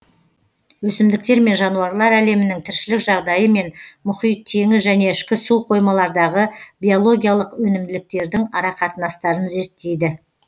өсімдіктер мен жануарлар әлемінің тіршілік жағдайы мен мұхит теңіз және ішкі суқоймалардағы биологиялық өнімділіктердің арақатынастарын зерттейді